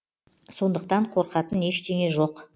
сондықтан қорқатын ештеңе жоқ